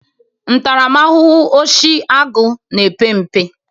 Ntaramahụhụ oshi agụụ na-epe mpe.